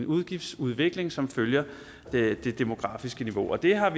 udgiftsudvikling som følger det demografiske niveau det har